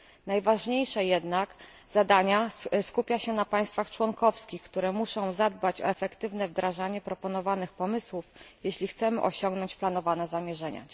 Najważniejsze jednak zadania skupia się na państwach członkowskich, które muszą zadbać o efektywne wdrażanie proponowanych pomysłów, jeśli chcemy osiągnąć planowane zamierzenia.